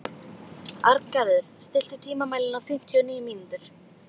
Arngarður, stilltu tímamælinn á fimmtíu og níu mínútur.